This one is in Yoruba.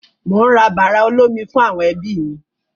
Mò ń ra bàrà olómi fún àwọn ẹbí mi.